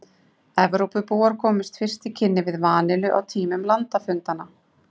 Evrópubúar komust fyrst í kynni við vanillu á tímum landafundanna.